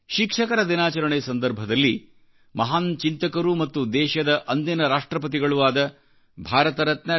ಶಿಕ್ಷಕರ ದಿನಾಚರಣೆ ಸಂದರ್ಭದಲ್ಲಿ ಮಹಾನ್ಚಿಂತಕರೂ ಮತ್ತು ದೇಶದ ಅಂದಿನ ರಾಷ್ಟ್ರ್ರಪತಿಗಳೂ ಆದ ಭಾರತ ರತ್ನ ಡಾ